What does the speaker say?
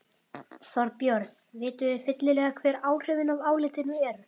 Þorbjörn, vitum við fyllilega hver áhrifin af álitinu eru?